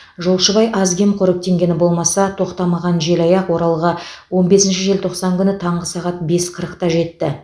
жолшыбай аз кем қоректенгені болмаса тоқтамаған желаяқ оралға он бесінші желтоқсан күні таңғы сағат бес қырықта жетті